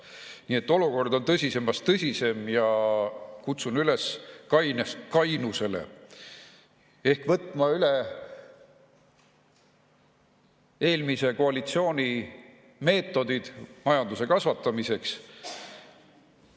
Nii et olukord on tõsisemast tõsisem ja kutsun üles kainusele ehk võtma üle eelmise koalitsiooni meetodeid majanduse kasvatamiseks.